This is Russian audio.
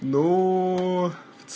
ну